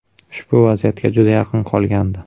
Ushbu vaziyatga juda yaqin qolgandi.